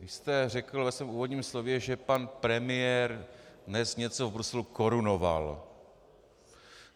Vy jste řekl ve svém úvodním slově, že pan premiér dnes něco v Bruselu korunoval.